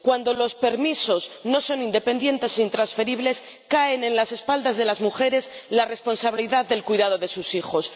Cuando los permisos no son independientes e intransferibles recae en las espaldas de las mujeres la responsabilidad del cuidado de sus hijos.